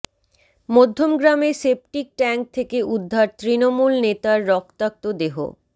মধ্যমগ্রামে septic tank থেকে উদ্ধার তৃণমূল নেতার রক্তাক্ত দেহ